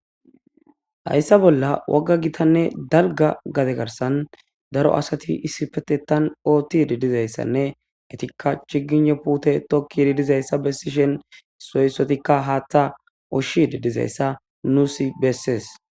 Hayssa bolla wogga gitanne dalgga gade garssan daro asati ossipetettan oottidi dizayssanne etikka chgiynne puute tokkidi dizayssa bessishe isso issotikka haaththa ushshidi dizayssa nuussi bessees.